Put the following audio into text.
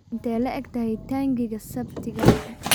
Intee le'eg tahay taangiga septic-gaagu?